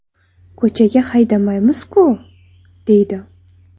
Ko‘chaga haydamaymiz-ku?” deydi.